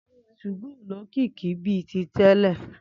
Túgó ó lókìkí bi ti tèlè